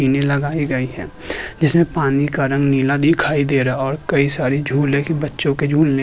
इन्हे लगाए गए हैं जिसमे पानी का रंग नीला दिखाई दे रहा है और कई सारे झूलने के बच्चों के झूलने --